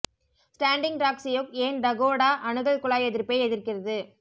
standing Rock Sioux ஏன் Dakota அணுகல் குழாய் எதிர்ப்பை எதிர்க்கிறது